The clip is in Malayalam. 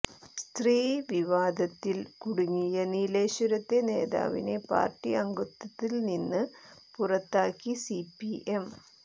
സ്ത്രീവിവാദത്തിൽ കുടുങ്ങിയ നീലേശ്വരത്തെ നേതാവിനെ പാർട്ടി അംഗത്വത്തിൽ നിന്ന് പുറത്താക്കി സിപിഎം